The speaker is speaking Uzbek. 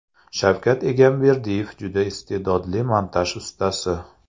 Shavkat Egamberdiyev juda iste’dodli montaj ustasi.